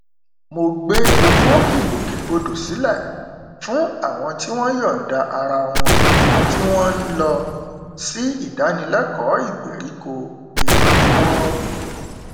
mo gbé owó ìgbòkegbodò sílẹ fún àwọn tí wọn yọnda ara wọn tí wọn n lọ sí ìdánilẹkọọ ìgbériko ìrànlọwọ